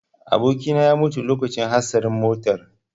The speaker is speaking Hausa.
Abokina ya mutu a lokacin hatsarin motar.